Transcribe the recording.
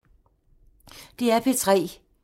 DR P3